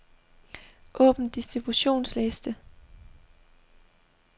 Åbn distributionsliste.